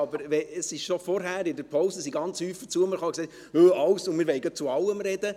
Aber schon vorhin, in der Pause, kamen viele zu mir und sagten: «Wir wollen gleich zu allem sprechen.